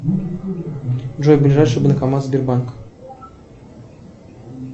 джой ближайший банкомат сбербанка